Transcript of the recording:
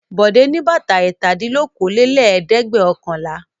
Bọ̀dé ní bàtà ẹ̀tàdínlókòólélẹ́ẹ̀dẹ́gbẹ̀ọ̀kànlá.